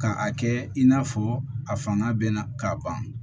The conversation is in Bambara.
Ka a kɛ in n'a fɔ a fanga bɛ na ka ban